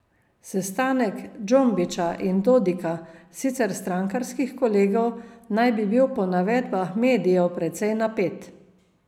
Sestanek Džombića in Dodika, sicer strankarskih kolegov, naj bi bil po navedbah medijev precej napet.